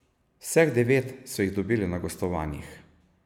Vseh devet so jih dobili na gostovanjih.